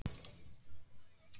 Ekki get ég út